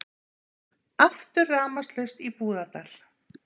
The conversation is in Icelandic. Aftur rafmagnslaust í Búðardal